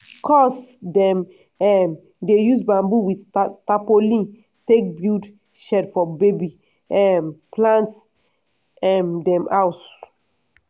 cuz dem um dey use bamboo with tapolin take build shed for baby um plant um dem house.